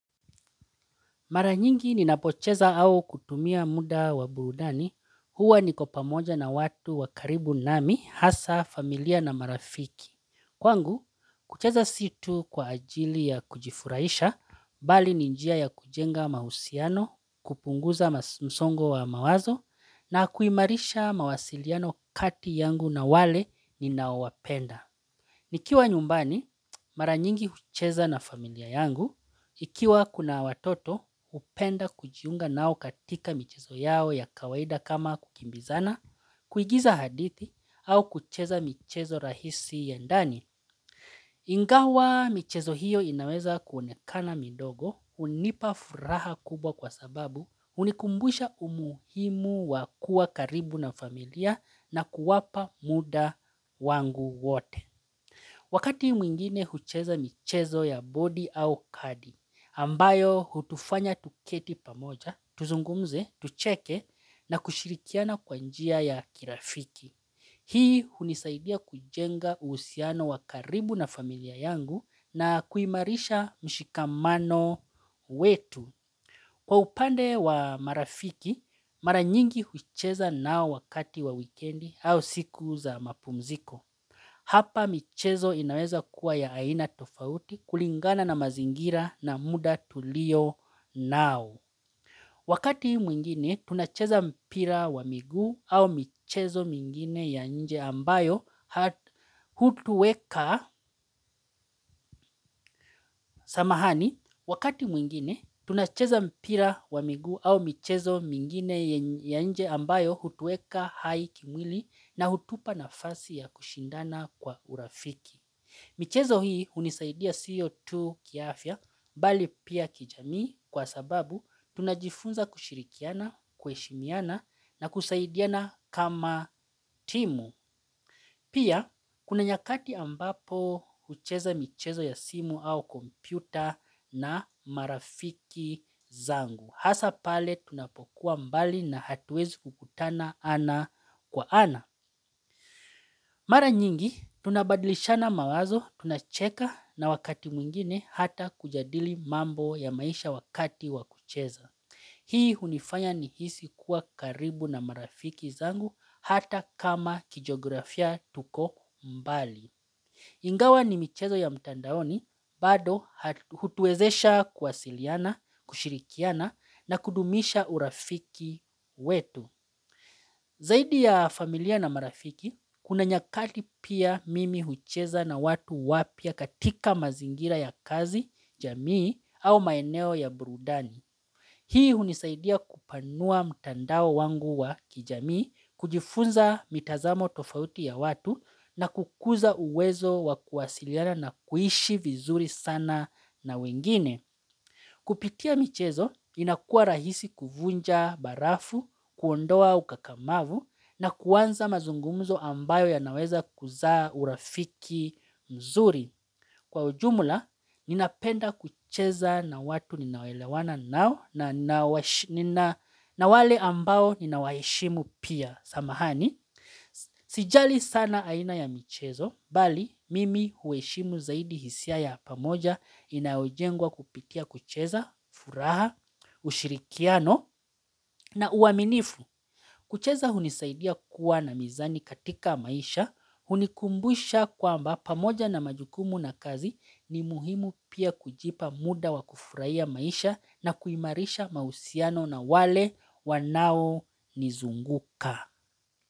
Maranyingi ninapocheza au kutumia muda wa burudani, huwa niko pamoja na watu wa karibu nami, hasa, familia na marafiki. Kwangu, kucheza sio tu kwa ajili ya kujifurahisha, bali ni njia ya kujenga mahusiano, kupunguza msongo wa mawazo, na kuimarisha mawasiliano kati yangu na wale ninaowapenda. Nikiwa nyumbani, maranyingi ucheza na familia yangu, ikiwa kuna watoto upenda kujiunga nao katika michezo yao ya kawaida kama kukimbizana, kuigiza hadithi, au kucheza michezo rahisi ya ndani. Ingawa michezo hiyo inaweza kuonekana mindogo, unipa furaha kubwa kwa sababu unikumbusha umuhimu wa kuwa karibu na familia na kuwapa muda wangu wote. Wakati mwingine hucheza michezo ya bodi au kadi, ambayo hutufanya tuketi pamoja, tuzungumze, tucheke na kushirikiana kwa njia ya kirafiki. Hii unisaidia kujenga uhusiano wa karibu na familia yangu na kuimarisha mshikamano wetu. Kwa upande wa marafiki, maranyingi hucheza nao wakati wa wikendi au siku za mapumziko. Hapa michezo inaweza kuwa ya aina tofauti kulingana na mazingira na muda tulionao. Wakati mwingine tunacheza mpira wa miguu au michezo mingine ya nje ambayo hutuweka, samahani. Wakati mwingine tunacheza mpira wa miguu au michezo mingine ya nje ambayo hutuweka hai kimwili na utupa nafasi ya kushindana kwa urafiki. Michezo hii unisaidia sio tu kiafya mbali pia kijamii kwa sababu tunajifunza kushirikiana, kuheshimiana na kusaidiana kama timu. Pia kuna nyakati ambapo ucheza michezo ya simu au kompyuta na marafiki zangu. Hasa pale tunapokuwa mbali na hatuwezi kukutana ana kwa ana. Mara nyingi, tunabadlisha na mawazo, tunacheka na wakati mwingine hata kujadili mambo ya maisha wakati wakucheza. Hii unifanya ni hisi kuwa karibu na marafiki zangu hata kama kijiografia tuko mbali. Ingawa ni michezo ya mtandaoni, bado hutuwezesha kuwasiliana, kushirikiana na kudumisha urafiki wetu. Zaidi ya familia na marafiki, kuna nyakati pia mimi hucheza na watu wapya katika mazingira ya kazi, jamii au maeneo ya brudani Hii unisaidia kupanua mtandao wangu wa kijamii, kujifunza mitazamo tofauti ya watu na kukuza uwezo wa kuwasiliana na kuishi vizuri sana na wengine Kupitia michezo inakuwa rahisi kuvunja barafu, kuondoa ukakamavu na kuanza mazungumuzo ambayo ya naweza kuzaa urafiki mzuri Kwa ujumula, ninapenda kucheza na watu ninaoelewana nao na nina na wale ambao ninawaheshimu pia, samahani Sijali sana aina ya michezo bali mimi uheshimu zaidi hisia ya pamoja Inayojengwa kupitia kucheza, furaha, ushirikiano na uaminifu kucheza hunisaidia kuwa na mizani katika maisha hunikumbusha kwamba pamoja na majukumu na kazi ni muhimu pia kujipa muda wa kufurahia maisha na kuimarisha mahusiano na wale wanaonizunguka.